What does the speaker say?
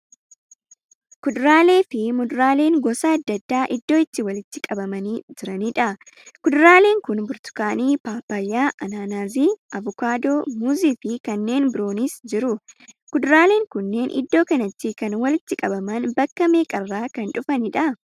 Kuduraalee fi muduraaleen gosa adda addaa iddoo itti walitti qabamanii jiraniidha. Kuduraaleen kun burtukaanii, paappayyaa, anaanaasii, avokaadoo, muuzii fi kanneen biroonis jiru. Kuduraaleen kunneen iddo kanatti kan walitti qabaman bakka meeqarraa kan dhufaniidha?